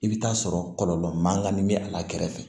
I bɛ taa sɔrɔ kɔlɔlɔ man kan ni bɛ a la kɛrɛfɛ